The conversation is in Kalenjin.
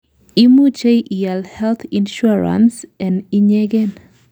imuchei iaal health insurance en inyegen